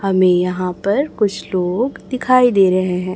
हमे यहां पर कुछ लोग दिखाई दे रहे है।